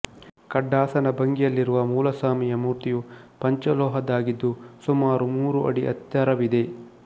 ಖಡ್ಡಾಸನ ಭಂಗಿಯಲ್ಲಿರುವ ಮೂಲಸ್ವಾಮಿಯ ಮೂರ್ತಿಯು ಪಂಚಲೋಹದ್ದಾಗಿದ್ದು ಸುಮಾರು ಮೂರು ಅಡಿ ಎತ್ತರವಿದೆ